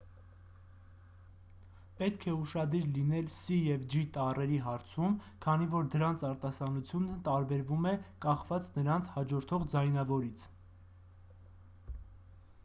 պետք է ուշադիր լինել սի և ջի տառերի հարցում քանի որ դրանց արտասանությունը տարբերվում է կախված նրանց հաջորդող ձայնավորից